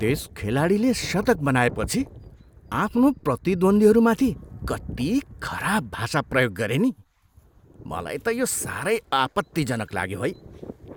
त्यस खेलाडीले शतक बनाएपछि आफ्नो प्रतिद्वन्दीहरूमाथि कति खराब भाषा प्रयोग गरे नि? मलाई त यो साह्रै आपत्तिजनक लाग्यो है।